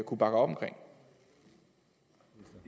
kunne bakke op om